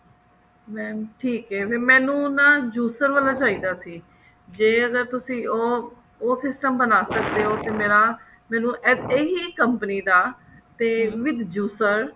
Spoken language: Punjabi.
mam ਠੀਕ ਅਹਿ ਫ਼ੇਰ ਮੈਨੂੰ ਨਾ juicer ਵਾਲਾ ਚਾਹੀਦਾ ਸੀ ਜੇ ਅਗਰ ਤੁਸੀਂ ਉਹ ਉਹ system ਬਣਾ ਸਕਦੇ ਹੋ ਅਗਰ ਮੇਰਾ ਮੈਨੂੰ ਇਹੀ company ਦਾ ਤੇ with juicer